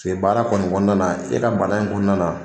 baara kɔni kɔnɔna na, e ka bana in kɔnɔna na.